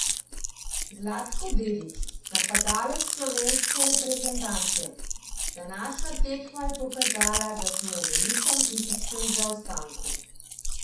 Zlatko Dedić, napadalec slovenske reprezentance: 'Današnja tekma je pokazala, da smo v velikem fizičnem zaostanku.